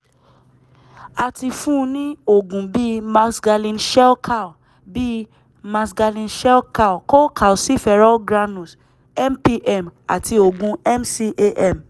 a ti fún un ní oògùn bíi maxgalin shelcal bíi maxgalin shelcal cholcalciferol granules MPM àti oògùn MCAM